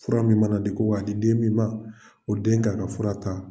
Fura min mana di ko k'a di den min ma o den kan ka fura ta